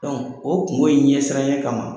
o kungo in ɲɛsiranɲɛ kama